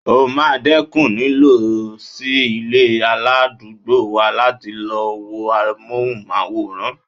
O máa dẹ́kun lílọ sí ilé aládùúgbò wa láti lọ wo amóhùnmáwòrán.